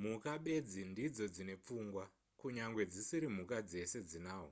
mhuka bedzi ndidzo dzine pfungwa kunyangwe dzisiri mhuka dzese dzinahwo